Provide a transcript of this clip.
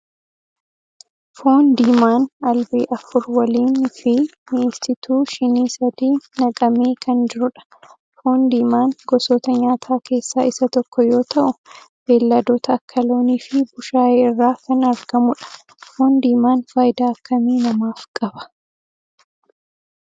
Foon diimaan albee afur waliin fi mi'eessituu shinii sadi naqamee kan jirudha. Foon diimaan gosoota nyaataa keessaa isa tokko yoo ta'u, beelladoota akka loonii fi bushaayee irraa kan argamudha. Foon diimaan faayidaa akkamii namaaf qaba?